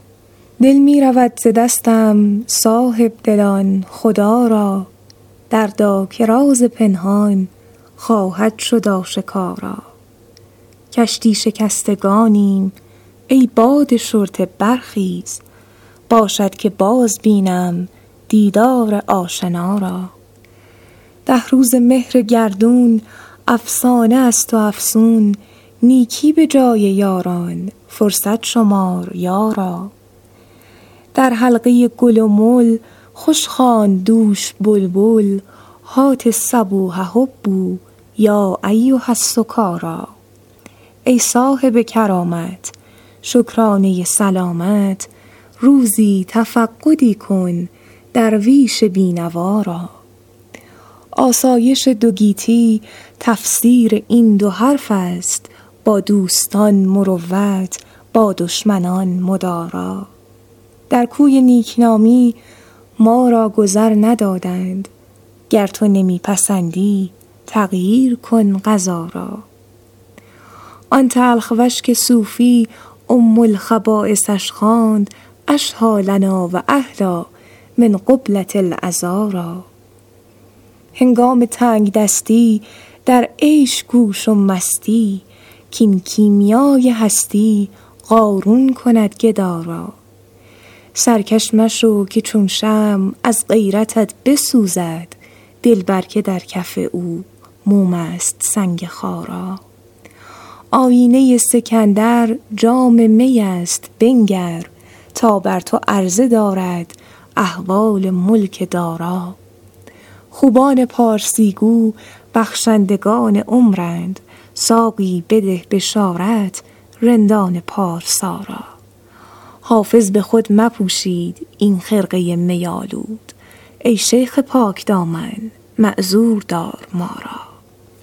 دل می رود ز دستم صاحب دلان خدا را دردا که راز پنهان خواهد شد آشکارا کشتی شکستگانیم ای باد شرطه برخیز باشد که باز بینم دیدار آشنا را ده روزه مهر گردون افسانه است و افسون نیکی به جای یاران فرصت شمار یارا در حلقه گل و مل خوش خواند دوش بلبل هات الصبوح هبوا یا ایها السکارا ای صاحب کرامت شکرانه سلامت روزی تفقدی کن درویش بی نوا را آسایش دو گیتی تفسیر این دو حرف است با دوستان مروت با دشمنان مدارا در کوی نیک نامی ما را گذر ندادند گر تو نمی پسندی تغییر کن قضا را آن تلخ وش که صوفی ام الخبایثش خواند اشهیٰ لنا و احلیٰ من قبلة العذارا هنگام تنگ دستی در عیش کوش و مستی کاین کیمیای هستی قارون کند گدا را سرکش مشو که چون شمع از غیرتت بسوزد دلبر که در کف او موم است سنگ خارا آیینه سکندر جام می است بنگر تا بر تو عرضه دارد احوال ملک دارا خوبان پارسی گو بخشندگان عمرند ساقی بده بشارت رندان پارسا را حافظ به خود نپوشید این خرقه می آلود ای شیخ پاک دامن معذور دار ما را